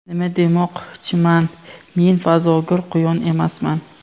Nima demoqchiman, men fazogir quyon emasman.